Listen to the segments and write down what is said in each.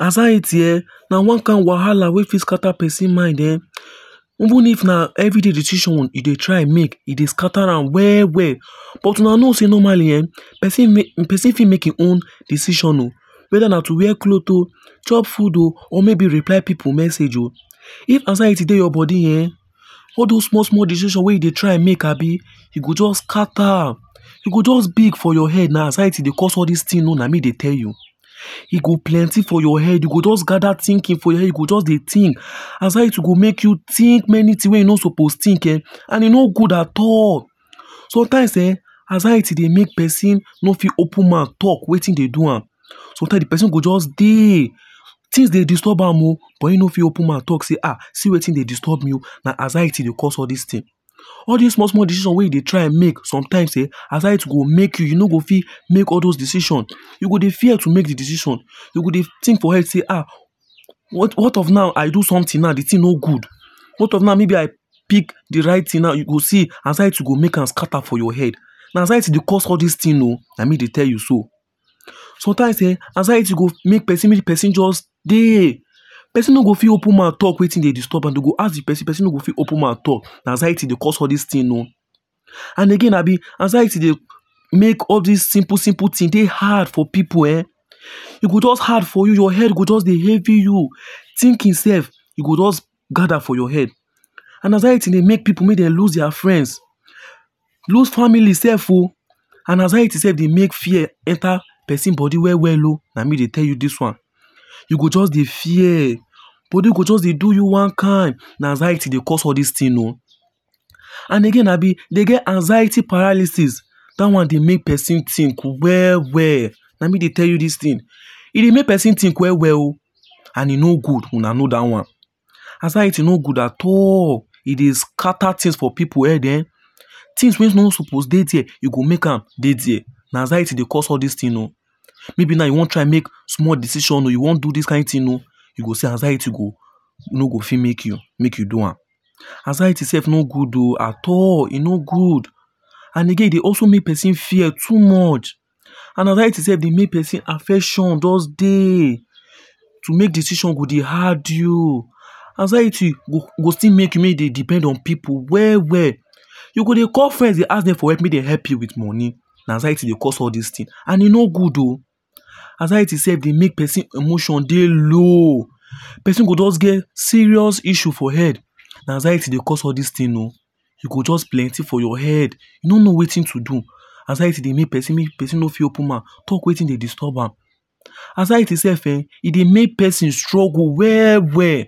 Anxiety um na one kind wahala wey fit scatter person mind um Even if na everyday decision e dey try make e dey scatter am well well. But una know sey normally um person fit make e own decision oh whether na to wear cloth oh, chop food oh or maybe reply pipu messages oh. If anxiety dey your body um all those small small decision wey you dey try make abi, e go just scatter. You go just big for your head na anxiety dey cause all those things na me dey tell you. E go plenty for your head, e just gather thinking for your head you go just dey think anxiety go make you think many things wey you no suppose think um and e no good at all. Sometimes um anxiety dey make person no fit open mouth talk wetin dey do am. Sometime di person go just dey. Things dey disturb am but him no fit open mouth talk sey ah see wetin dey disturb me oh na anxiety dey cause all these things. All this small small decisions wey you dey try make sometimes um anxiety go make you you no fit make all those decisions. You go de fear to make dey decision. You go dey think for head say um what of now i do something now di thing no good, what of now maybe I pick di right thing now you go see anxiety go make am scatter for your head. Na anxiety dey cause all these things oh na me dey tell you so. Sometimes um anxiety go make de person just dey, person no go fit open mouth talk wetin disturb am. Dem go ask de person, de person no go fit open mouth talk, na anxiety dey cause all these things oh. And again abi, anxiety dey make all these simple simple things dey hard for pipu um E go just hard from your head, your head go just dey heavy you. Thinking self e go just gather for your head. Na anxiety dey make pipu make lose their friends, lose family self oh. Anxiety self dey make fear enter person body well well oh. Na me dey tell you this one. You go just dey fear, body go just dey do you one kind. Na anxiety dey cause all this thing oh. And again abi dey get anxiety paralysis that one dey make person think well well. Na me dey tell you this thing. E dey make person think well well oh and e no good, una una that one. Anxiety no good at all. E dey scatter things for pipu head um Things wey no suppose dey dey e go make am dey dere. Na anxiety dey cause all these things oh. Maybe now you wan try make small decision oh, you wan do this kind thing oh, you go see anxiety go no fit make you make you do am. Anxiety self no good oh at all e no good. And again, e dey also make person fear too much. Na anxiety dey make person affection just dey to make decisions go dey hard you. Anxiety go still make you make you dey depend on pipu well well. You go dey call friend dey ask dem make dem help you with money na anxiety dey cause all these things and e no good oh. Anxiety self dey make person emotion dey low. Person go just get serious issues for head. Na anxiety dey cause all these things oh. E go just plenty for your head, you no know wetin to do. Anxiety dey make person make person no fit open mouth talk wetin dey disturb am. Anxiety self um e dey make person struggle well well.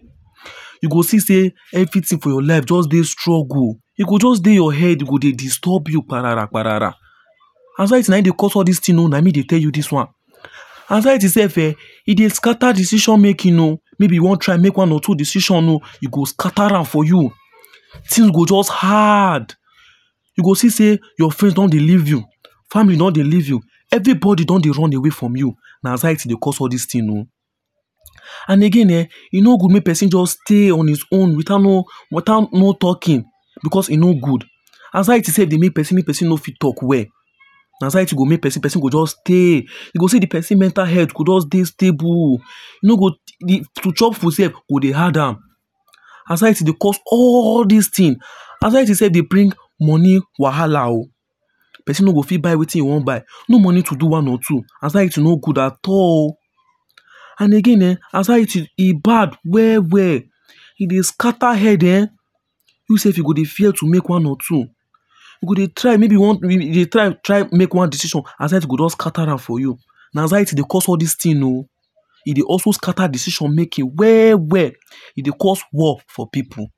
You go see sey anything for your life just dey struggle. E go just dey your head e go dey disturb you parapararah. Anxiety na him dey cause all these things oh na me dey tell you this one. Anxiety self um e dey scatter decision making oh maybe you wan try make one or two decision oh, e go scatter am for you. Things go just hard you go see sey your friend don dey leave you family don dey leave you, everybody don dey run away from you, na anxiety dey cause all this thing oh. And again um e no good make person just stay on his own without not talking because no good. Anxiety slf dey make person, make person no fit talk well. Na anxiety go make make person just dey, you go see de person mental health go just stable to chop food self go dey hard am. Anxiety dey cause all these things. Anxiety self dey bring money wahala oh. Person no go fit buy wetin e wan buy. No money to buy one or two. anxiety no good at all. And again um anxiety e bad well well. E dey scatter head um You self you go dey fear to make one or two. You go dey try make one decision anxiety go down scatter am for you. Na anxiety dey cause all these things oh. E dey also scatter decision making well well. E dey cause war for pipu.